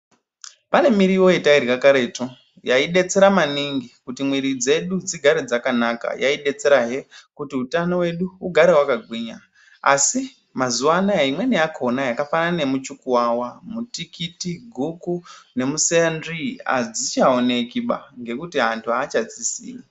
Pane mirivo yatairya karetu yaidetsera maningi kuti mwiri dzedu dzigare dzakanaka. Yaidetserahe kuti utano wedu ugare wakagwinya asi mazuwa anaya imweni yakhona yakafanana nemuchukuwawa, mutikiti, guku nemuseyanzvii adzichaonekiba nekuti anhu achadzisimi.